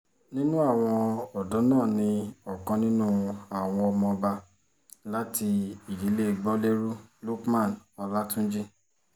nínú àwọn ọ̀dọ́ náà ní ọ̀kan nínú àwọn ọmọọba láti ìdílé gbolérù lukman ọlátúnjì